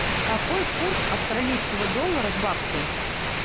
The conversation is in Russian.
какой курс австралийского доллара к баксу